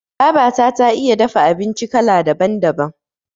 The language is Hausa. Babata ta iya dafa abinci kala daban- daban.